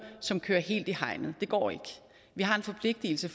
som kører helt i hegnet det går ikke vi har en forpligtigelse